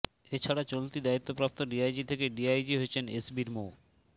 এ ছাড়া চলতি দায়িত্বপ্রাপ্ত ডিআইজি থেকে ডিআইজি হয়েছেন এসবির মো